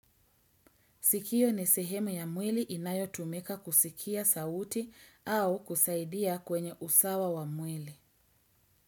Sikio ni sehemu ya mwili inayo tumika kusikia sauti au kusaidia kwenye usawa wa mwili.